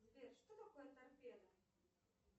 сбер что такое торпеда